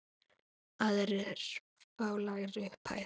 Aðrir fá lægri upphæð.